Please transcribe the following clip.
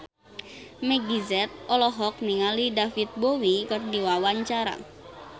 Meggie Z olohok ningali David Bowie keur diwawancara